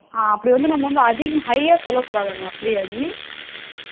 ஆ அப்படி வந்து நம்ம ஒண்ணு high ஆ சொல்ல கூடாதாமே அப்படியா டி